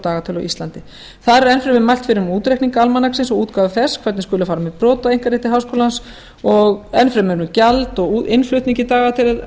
á íslandi þar er enn fremur mælt fyrir um útreikning almanaksins og útgáfu þess hvernig skuli fara með brot á einkarétti háskólans enn fremur um gjald af útgáfu og innflutningi